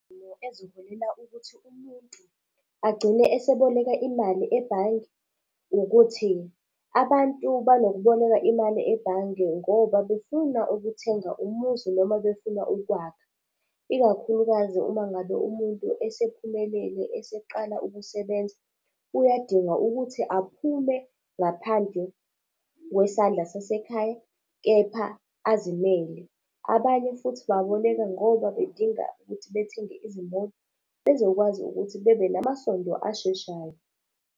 Eziholela ukuthi umuntu agcine eseboleka imali ebhange ukuthi, abantu banokuboleka imali ebhange ngoba befuna ukuthenga umuzi noma befuna ukwakha. Ikakhulukazi uma ngabe umuntu esephumelele, eseqala ukusebenza, uyadinga ukuthi aphume ngaphandle kwesandla sasekhaya, kepha azimele. Abanye futhi baboleka ngoba bedinga ukuthi bethenge izimoto, bezokwazi ukuthi bebe nama masondo asheshayo.